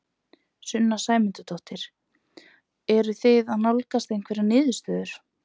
Sunna Sæmundsdóttir: Eruð þið að nálgast einhverja niðurstöðu?